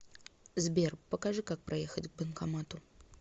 сбер покажи как проехать к банкомату